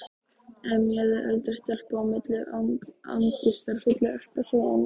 emjaði eldri stelpan á milli angistarfullra ekkasoganna.